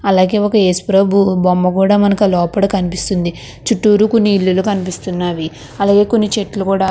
అలాగే ఒక ఏసుప్రభువు బొమ్మ కూడ మనకి లోపల కనిపిస్తుంది. చుట్టూరు కొన్ని ఇల్లులు కనిపిస్తున్నాయి. అలాగే కొన్ని చెట్లు కూడ --